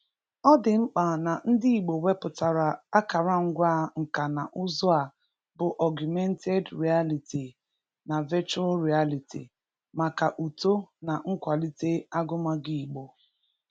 Ọ dị mkpa na ndị Igbo wepụtara akụrụngwa nka na ụzụ a bụ Ọgụmented Rịaliti na Vechụal Rịaliti maka uto na nkwalite agụmagụ Igbo.